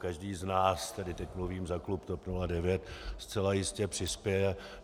Každý z nás - tedy teď mluvím za klub TOP 09 - zcela jistě přispěje.